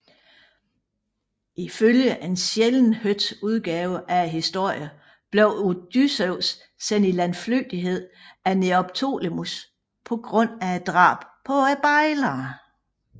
Ifølge en sjældent hørt udgave af historien blev Odysseus sendt i landflygtighed af Neoptolemos på grund af drabet på bejlerne